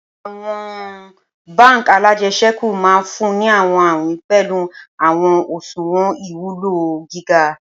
Awọn bánk alájẹsẹ́kù maà funni awọn awin pẹlu awọn oṣuwọn iwulo giga.